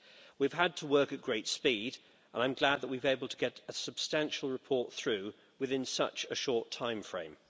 We've had to work at great speed, and I'm glad that we've been able to get a substantial report through within such a short time frame.